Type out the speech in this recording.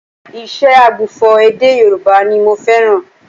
Ìṣe ògbufọ̀ èdè Yorùbá ni mo fẹ́ràn